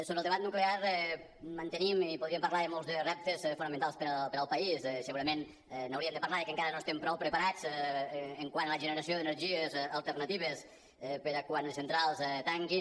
sobre el debat nuclear mantenim i podríem parlar de molts de reptes fonamentals per al país segurament hauríem de parlar de que encara no estem prou preparats quant a la generació d’energies alternatives per a quan les centrals tanquin